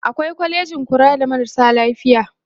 awai kwalejin kula da marasa lafiya